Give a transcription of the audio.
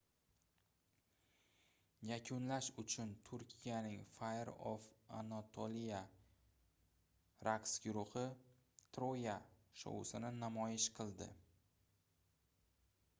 yakunlash uchun turkiyaning fire of anatolia raqs guruhi troya shousini namoyish qildi